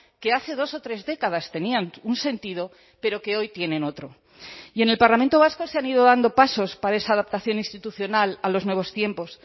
que hace dos o tres décadas tenían un sentido pero que hoy tienen otro y en el parlamento vasco se han ido dando pasos para esa adaptación institucional a los nuevos tiempos